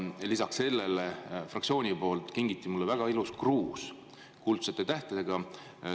Lisaks sellele, fraktsiooni poolt kingiti mulle väga ilus kruus, kuldsete tähtedega.